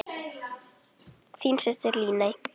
Þín systir, Líney.